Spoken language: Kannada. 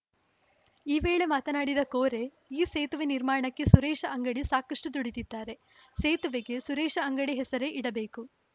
ಈ ವೇಳೆ ಮಾತನಾಡಿದ ಕೋರೆ ಈ ಸೇತುವೆ ನಿರ್ಮಾಣಕ್ಕೆ ಸುರೇಶ ಅಂಗಡಿ ಸಾಕಷ್ಟುದುಡಿದಿದ್ದಾರೆ ಸೇತುವೆಗೆ ಸುರೇಶ ಅಂಗಡಿ ಹೆಸರೇ ಇಡಬೇಕು